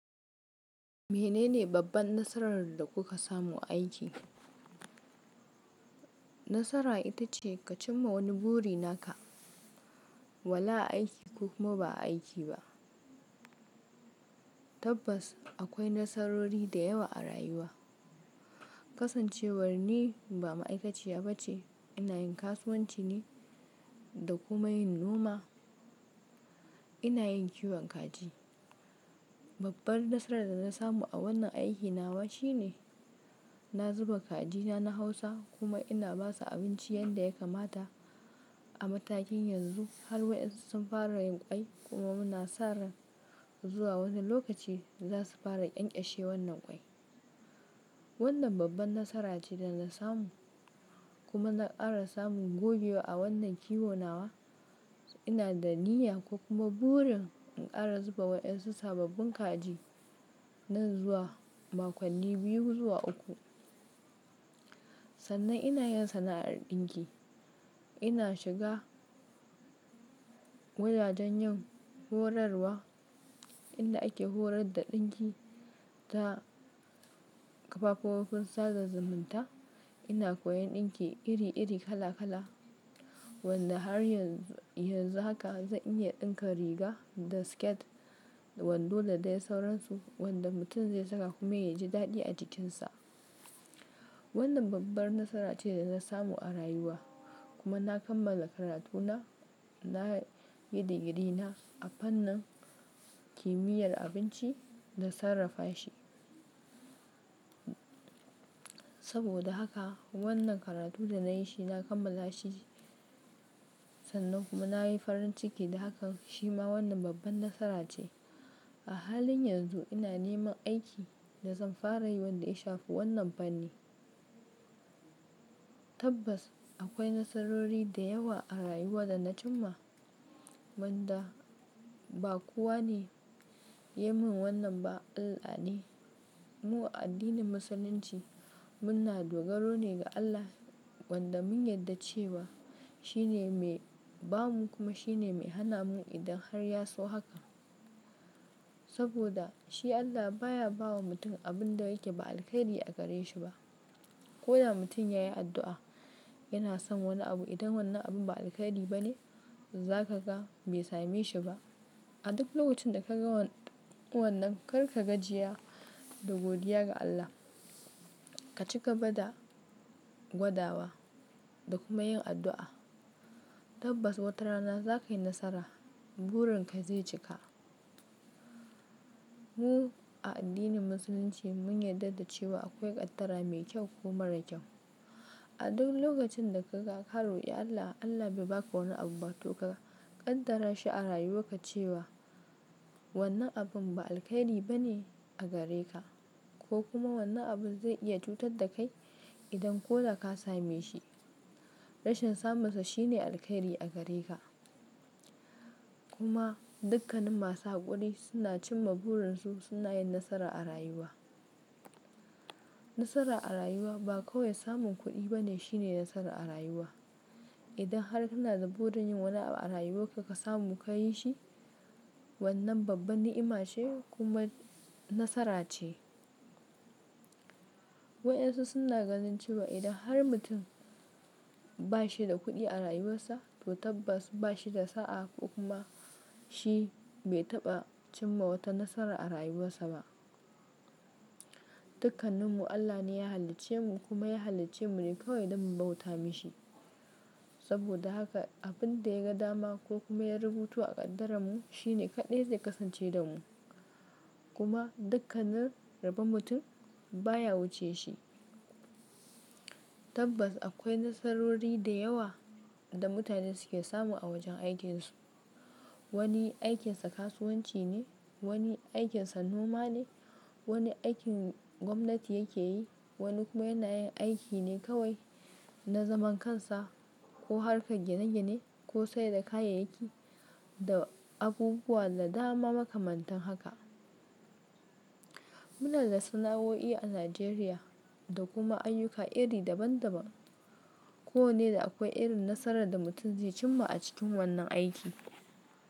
Mene ne babban nasarar da kuka samu a aiki? Nasara ita ce ka cimma wani buri naka, wala aiki ko kuma ba aiki ba. Tabbas akwai nasarori da yawa a rayuwa. Kasancewar ni ba ma'aikaciya ba ce, ina yin kasuwanci ne da kuma yin noma. Ina yin kiwon kaji. Babbar nasarar da na samu a wannan aiki nawa shine, na zuba kajina na hausa kuma ina basu abinci yanda ya kamata a matakin yanzu har waƴansu sun fara yin ƙwai kuma muna sa ran zuwa wani lokaci za su fara ƙyanƙyashe wannan ƙwai. Wannan babban nasara ce da na samu kuma na ƙara samun gogewa a wannan kiwo nawa. Ina da niyya ko kuma burin in ƙara zuba waɗansu sababbin kaji nan zuwa makonni biyu zuwa uku. Sannan ina yin sana'ar ɗinki. Ina shiga wajajen yin horarwa inda ake horar da ɗinki ta kafofin sada zumunta. Ina koyan ɗinki iri-iri kala-kala wanda har yanzu haka zan iya ɗinka riga da siket wando da dai sauransu wanda mutum zai saka kuma ya ji daɗi a jikinsa. Wannan babbar nasara ce da na samu a rayuwa kuma na kammala karatuna, na yi digiri na a fannin kimiyyar abinci da sarrafa shi. Saboda haka wannan karatu da na yi shi, na kammala shi sannan kuma na yi farin ciki da haka shi ma wannan babban nasara ce. A halin yanzu ina neman aiki da zan fara yi wanda ya shafi wannan fanni. Tabbas akwai nasarori da yawa a rayuwa da na cimma wanda ba kowa ne ya min wannan ba, Allah ne. Mu a addinin Musulunci muna dogaro ne ga Allah wanda mun yarda cewa shi ne mai ba mu kuma shi ne mai hana mu idan har ya so haka. Saboda shi Allah baya bawa mutum abin da yake ba alheri a gare shi ba. Ko da mutum yayi addu'a yana son wani abu idan wannan abun ba alheri ba ne, za ka ga bai same shi ba. A duk lokacin da ka ga wannan kar ka gajiya da godiya ga Allah. Ka ci gaba da gwadawa da kuma yin addu'a. Tabbas watarana za ka yi nasara, burin ka zai cika. Mu a addinin Musulunci mun yarda da cewa akwai ƙaddara mai kyau ko mara kyau. A duk lokacin da ka ga ka roƙi Allah, Allah bai baka wannan abu ba to ka ƙaddara shi a rayuwarka cewa wannan abun ba alheri ba ne a gare ka, ko kuma wannan abun zai iya cutar da kai idan ko da ka same shi. Rashin samunsa shine alheri a gare ka. Kuma dukkanin masu haƙuri suna cimma burin su, suna yin nasara a rayuwa. Nasara a rayuwa ba kawai samun kuɗi bane shine nasara a rayuwa. Idan har kana da burin yin wani abu a rayuwarka ka samu ka yi shi, wannan babbar ni'ima ce kuma nasara ce. Waƴansu suna ganin cewa idan har mutum ba shi da kuɗi a rayuwarsa to tabbas ba shi da sa'a ko kuma shi bai taɓa cimma wata nasara a rayuwarsa ba. Dukkaninmu Allah ne ya halicce mu kuma ya halicce mu ne kawai don mu bauta mishi. Saboda haka abin da ya ga dama ko kuma ya rubuto a ƙaddaranmu shi ne kaɗai zai kasance da mu. Kuma dukkanin rabon mutum baya wuce shi. Tabbas akwai nasarori da yawa da mutane suke samu a wajen aikinsu. Wani aikinsa kasuwanci ne, wani aikinsa noma ne, wani aikin gwamnati yake yi, wani kuma yana yin aiki ne kawai na zaman kansa ko harkar gine-gine ko sayar da kayayyaki da abubuwa da dama makamantan haka. Muna da sana'o'i a Najeriya da kuma ayyuka iri daban-daban. Ko wanne da akwai irin nasarar da mutum zai cimma a cikin wannan aiki.